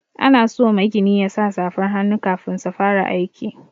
Ana so magini yasa safar hannu kafin su fara aiki.